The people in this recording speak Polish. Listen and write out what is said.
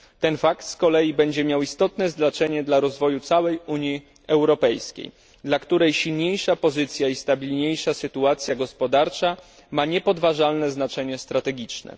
Ten fakt z kolei będzie miał istotne znaczenie dla rozwoju całej Unii Europejskiej, dla której silniejsza pozycja i stabilniejsza sytuacja gospodarcza ma niepodważalne znaczenie strategiczne.